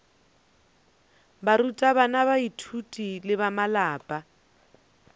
barutabana baithuti le ba malapa